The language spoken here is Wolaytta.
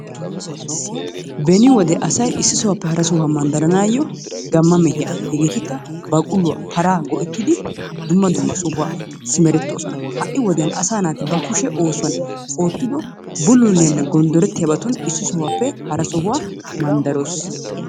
Beni wode asay isi sohuwape hara sohuwa baanawu gamma mehiya. Hegeetikka baqulluwa paraa go'ettidi dumma dumma sohuwa simeretoosona. Ha'i wodiyan asa naati ba kushe oosuwan ootiddo bululliyaanne gondorettiyabatun issi sohuwaape hara sohuwa mandaroos.